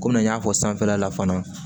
Komi n y'a fɔ sanfɛla la fana